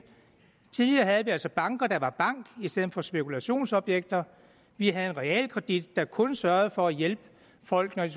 tidligere havde vi altså banker der var banker i stedet for spekulationsobjekter vi havde en realkredit der kun sørgede for at hjælpe folk når de